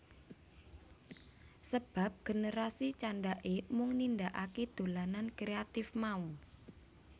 Sebab generasi candhake mung nindakake dolanan kreatif mau